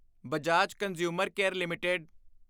Bajaj consumer care LTD